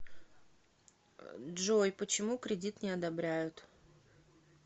джой почему кредит не одобряют